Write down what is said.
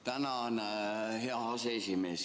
Tänan, hea aseesimees!